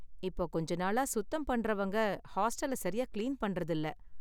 இப்போ கொஞ்ச நாளா சுத்தம் பண்றவங்க ஹாஸ்டல சரியா கிளீன் பண்றது இல்ல